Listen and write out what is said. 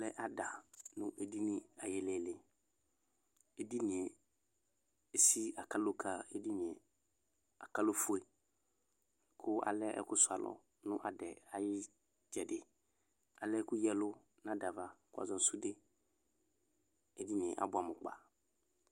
alɛ ada nʋ edini ayililii edinie esii akaloka edinie akaloƒʋe kʋ alɛ ɛkʋsʋalɔ nʋ adɛɛ ayʋ itsɛdi kʋ alɛ ɛkʋ yaɛlʋ nʋ adava kʋ wazɔnʋ sʋde edinie abʋɛamʋ kpaa